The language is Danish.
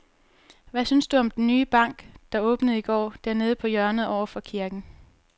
Hvad synes du om den nye bank, der åbnede i går dernede på hjørnet over for kirken?